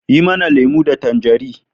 Ki mana lemo da tanjari